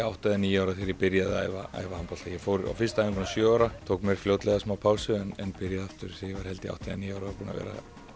átta eða níu ára þegar ég byrjaði að æfa æfa handbolta ég fór á fyrstu æfinguna sjö ára tók mér fljótlega smá pásu en byrjaði aftur þegar ég var átta eða níu ára og er búinn að vera